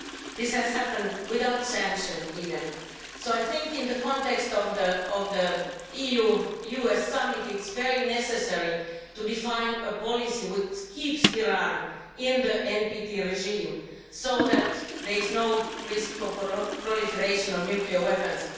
This has happened without sanctions even, so I think, in the context of the EU US Summit, it is very necessary to define a policy which keeps Iran in the NPT regime so that there is no risk of proliferation of nuclear weapons.